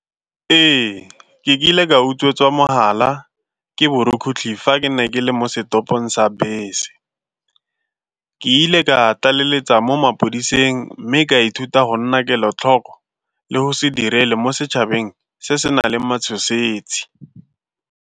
Ee, ke kile ka utswetswa mogala ke borukutlhi fa ke ne ke le mo setopong sa bese. Ke ile ka tlaleletsa mo mapodiseng mme ka ithuta go nna kelotlhoko le go se direle mo setšhabeng se se nang le matshosetsi.